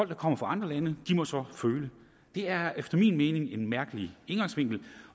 der kommer fra andre lande må så føle det er efter min mening en mærkelig indgangsvinkel